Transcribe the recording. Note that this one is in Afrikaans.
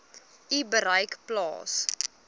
u bereik plaas